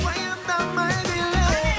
уайымдамай биле